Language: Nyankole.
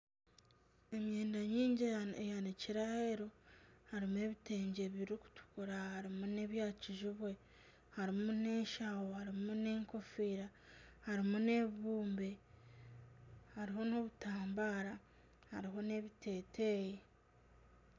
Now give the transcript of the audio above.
Emyenda mingi eyanikire aheeru harimu ebitengye birikutukira harimu n'ebya kijubwe harimu n'enshaho harimu n'enkofiira harimu n'ebibumbe hariho n'obutambara hariho n'ebiteteeyi.